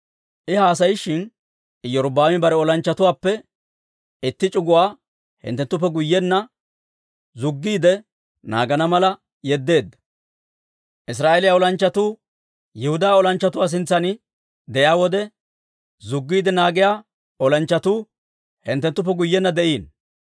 I haasayishin, Iyorbbaami bare olanchchatuwaappe itti c'uguwaa hinttuttuppe guyyenna zuggiide naagana mala yeddeedda. Israa'eeliyaa olanchchatuu Yihudaa olanchchatuu sintsan de'iyaa wode, zuggiide naagiyaa olanchchatuu hinttuttuppe guyyenna de'iino.